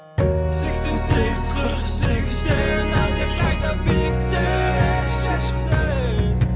сексен сегіз қырық сегізден әлдеқайда биікте сезімдер